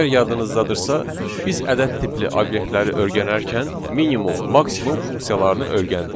Əgər yadınızdadırsa, biz ədəd tipli obyektləri öyrənərkən minimum, maksimum funksiyalarını öyrəndik.